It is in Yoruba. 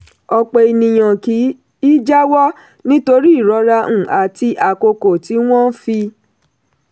ọ̀pọ̀ ènìyàn kì í jáwọ́ nítorí ìrora um àti àkókò tí wọ́n fi.